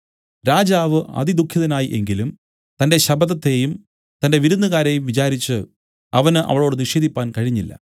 രാജാവ് അതിദുഃഖിതനായി എങ്കിലും തന്റെ ശപഥത്തെയും തന്റെ വിരുന്നുകാരെയും വിചാരിച്ചു അവന് അവളോട് നിഷേധിപ്പാൻ കഴിഞ്ഞില്ല